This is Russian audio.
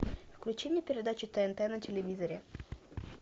включи мне передачу тнт на телевизоре